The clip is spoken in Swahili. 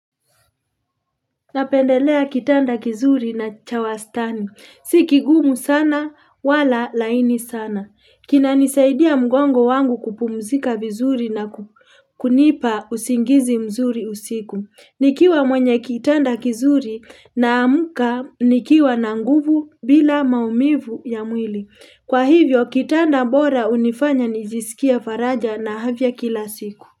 Napendelea kitanda kizuri na chawastani. Si kigumu sana wala laini sana. Kinanisaidia mgongo wangu kupumzika vizuri na kunipa usingizi mzuri usiku. Nikiwa mwenye kitanda kizuri naamka nikiwa na nguvu bila maumivu ya mwili. Kwa hivyo kitanda bora hunifanya nijisikie faraja na afya kila siku.